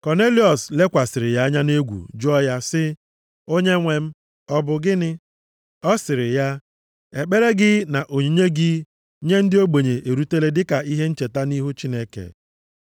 Kọnelịọs lekwasịrị ya anya nʼegwu jụọ ya sị, “Onyenwe m, ọ bụ gịnị?” Ọ sịrị ya, “Ekpere gị na onyinye gị nye ndị ogbenye e rutela dịka ihe ncheta nʼihu Chineke.